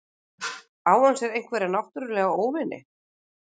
Á hann sér einhverja náttúrulega óvini?